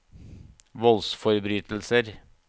voldsforbrytelser